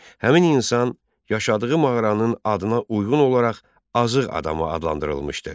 Həmin insan yaşadığı mağaranın adına uyğun olaraq Azıx adamı adlandırılmışdır.